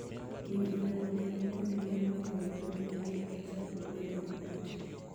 Winy onego obed gi kuonde ma ilwokoe buru mondo kik gichak bedo gi kute.